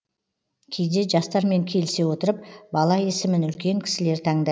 кейде жастармен келісе отырып бала есімін үлкен кісілер таңдай